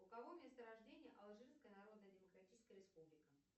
у кого место рождения алжирская народная демократическая республика